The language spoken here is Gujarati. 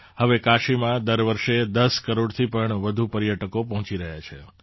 હવે કાશીમાં દર વર્ષે ૧૦ કરોડથી પણ વધુ પર્યટકો પહોંચી રહ્યા છે